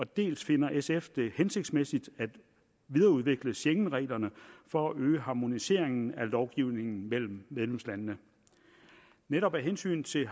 dels finder sf det hensigtsmæssigt at videreudvikle schengenreglerne for at øge harmoniseringen af lovgivningen mellem medlemslandene netop af hensyn til